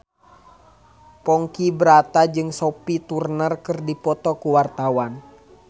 Ponky Brata jeung Sophie Turner keur dipoto ku wartawan